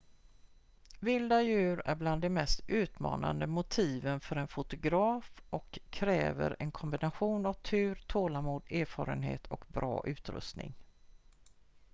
vilda djur är bland de mest utmanande motiven för en fotograf och kräver en kombination av tur tålamod erfarenhet och bra utrustning